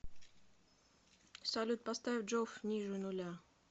салют поставь джоф ниже нуля